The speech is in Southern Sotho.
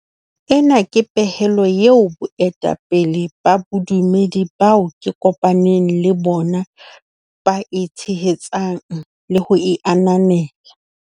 Ena ke pehelo eo baetapele ba bodumedi bao ke kopa neng le bona ba e tshehetsang le ho e ananela.